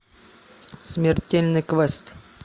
смертельный квест